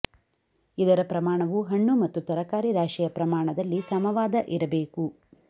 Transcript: ಇದರ ಪ್ರಮಾಣವು ಹಣ್ಣು ಮತ್ತು ತರಕಾರಿ ರಾಶಿಯ ಪ್ರಮಾಣದಲ್ಲಿ ಸಮವಾದ ಇರಬೇಕು